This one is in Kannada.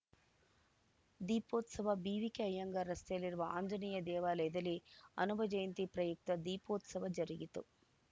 ದೀಪೋತ್ಸವ ಬಿವಿಕೆ ಅಯ್ಯಂಗಾರ್‌ ರಸ್ತೆಯಲ್ಲಿರುವ ಆಂಜನೇಯ ದೇವಾಲಯಲ್ಲಿ ಹನುಮ ಜಯಂತಿ ಪ್ರಯುಕ್ತ ದೀಪೋತ್ಸವ ಜರುಗಿತು